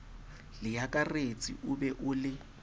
leakaretsi o be o le